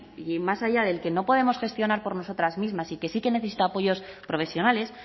y más allá del que no podemos gestionar por nosotras mismas y que sí que necesita apoyos profesionales